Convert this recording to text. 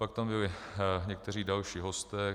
Pak tam byli někteří další hosté.